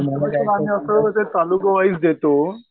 तालुका wise देतो